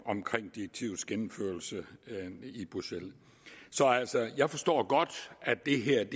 direktivets gennemførelse i bruxelles så jeg forstår godt at det her